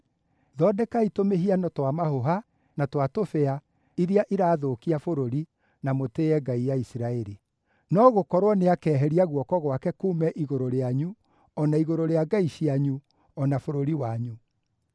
Thondekai tũmĩhiano twa mahũha na twa tũbĩa iria irathũkia bũrũri, na mũtĩĩe ngai ya Isiraeli. No gũkorwo nĩakeheria guoko gwake kuume igũrũ rĩanyu, o na igũrũ rĩa ngai cianyu, o na bũrũri wanyu.